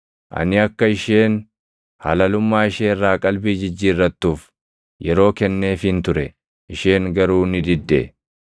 Ani akka isheen halalummaa ishee irraa qalbii jijjiirrattuuf yeroo kenneefiin ture; isheen garuu ni didde.